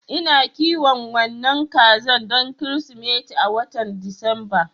Ina kiwon wannan kaza don Kirsimeti a watan Disamba.